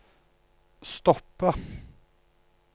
stoppe